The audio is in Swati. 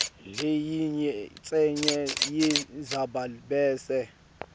leyincenye yendzaba bese